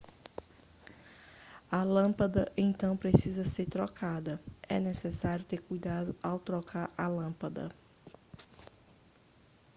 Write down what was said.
a lâmpada então precisa ser trocada é necessário ter cuidado ao trocar a lâmpada